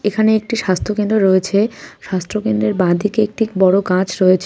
এখানে একটি স্বাস্থ্য কেন্দ্র রয়েছে স্বাস্থ্য কেন্দ্রের বাঁ দিকে একটি বড় গাছ রয়েছে.